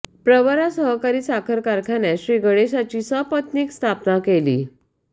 प्रवरा सहकारी साखर कारखान्यात श्रीगणेशाची सपत्नीक केली स्थापना केली